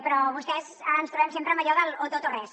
però amb vostès ens trobem sempre amb allò del o tot o res